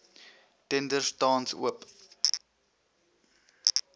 tenders tans oop